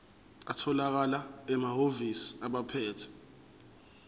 atholakala emahhovisi abaphethe